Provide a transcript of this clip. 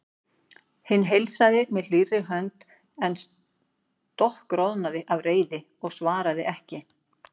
Hinn heilsaði með hlýrri hönd en stokkroðnaði af reiði og svaraði ekki.